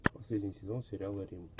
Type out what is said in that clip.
последний сезон сериала рим